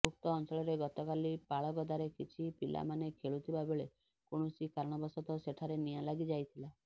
ଉକ୍ତ ଅଞ୍ଚଳରେ ଗତକାଲି ପାଳଗଦାରେ କିଛି ପିଲାମାନେ ଖେଳୁଥିବା ବେଳେ କୌଣସି କାରଣବଶତଃ ସେଠାରେ ନିଆଁ ଲାଗିଯାଇଥିଲା